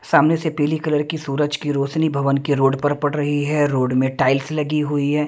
सामने से पीली कलर की सूरज की रोशनी भवन के रोड पर पड़ रही है रोड में टाइल्स लगी हुई है।